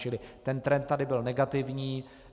Čili ten trend tady byl negativní.